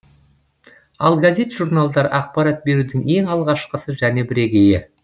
ал газет журналдар ақпарат берудің ең алғашқысы және бірегейі